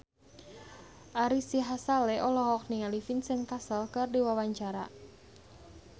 Ari Sihasale olohok ningali Vincent Cassel keur diwawancara